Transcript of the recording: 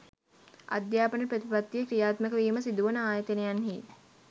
අධ්‍යාපන ප්‍රතිපත්තිය ක්‍රියාත්මක වීම සිදුවන ආයතනයන්හි